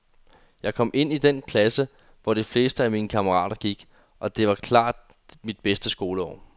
Jeg kom ind i den klasse, hvor de fleste af mine kammerater gik, og det var klart mit bedste skoleår.